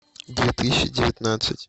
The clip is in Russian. две тысячи девятнадцать